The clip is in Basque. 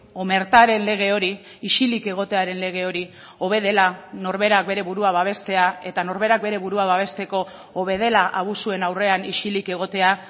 omertaren lege hori isilik egotearen lege hori hobe dela norberak bere burua babestea eta norberak bere burua babesteko hobe dela abusuen aurrean isilik egotea